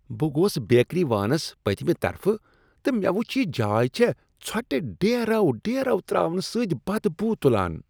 بہٕ گوس بیکری وانس پٔتۍمہ طرفہٕ تہٕ مےٚ وچھ ز یہ جاے چھےٚ ژھۄٹہ ڈیرو ڈیرو ترٛاونہٕ سۭتۍ بدبو تُلان۔